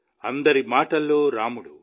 అందరి మాటల్లో రాముడు